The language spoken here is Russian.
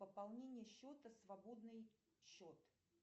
пополнение счета свободный счет